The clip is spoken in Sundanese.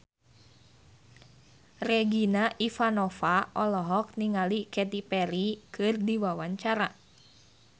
Regina Ivanova olohok ningali Katy Perry keur diwawancara